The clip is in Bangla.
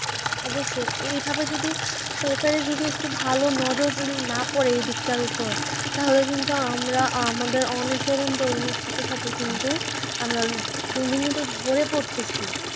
অবশ্যই, এই ভাবে যদি সরকারের যদি একটু ভালো নজর যদি না পড়ে ওই দিকটার উপর তাহলে কিন্তু আমরা আমাদের অনেক তরুণ তরুণী ছাত্রছাত্রী কিন্তু আমরা দিন দিন কিন্তু ঝরে পড়তেছি।